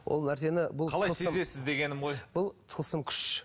ол нәрсені қалай сезесіз дегенім ғой бұл тылсым күш